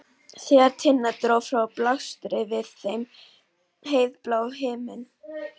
Þegar Tinna dró frá blasti við þeim heiðblár himinn.